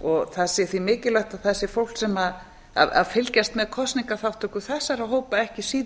og það sé því mikilvægt að það sé fólk sem fylgist með kosningaþátttöku þessara hópa ekki síður